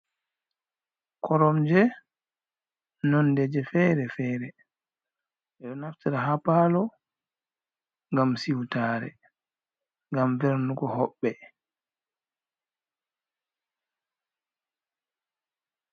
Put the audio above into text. Koromje nonde ji fere-fere, ɓeɗo naftira ha palo ngam siutare, ngam vernugo hoɓɓe.